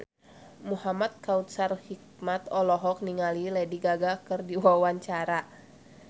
Muhamad Kautsar Hikmat olohok ningali Lady Gaga keur diwawancara